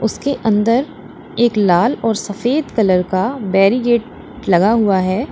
उसके अंदर एक लाल और सफेद कलर का बैरीगेट लगा हुआ है।